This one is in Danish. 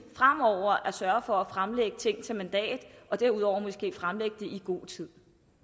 at sørge for at fremlægge ting til mandat og derudover måske fremlægge dem i god tid